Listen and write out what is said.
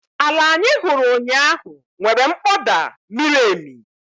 Ala anyị hụrụ ụnyahụ nwere mkpọda miri emi